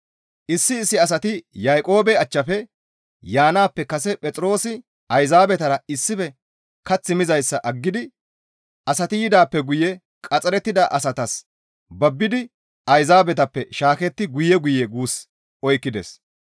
Issi issi asati Yaaqoobe achchafe yaanaappe kase Phexroosi Ayzaabetara issife kath mizayssa aggidi asati yidaappe guye qaxxarettida asatas babbidi Ayzaabetappe shaaketti guye guye guus oykkides.